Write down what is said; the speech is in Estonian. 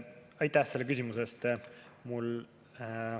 Aitäh selle küsimuse eest!